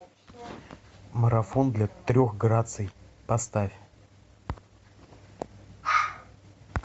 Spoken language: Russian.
марафон для трех граций поставь